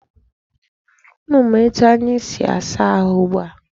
Unu ma etu anyi si asa ahụ ugbua?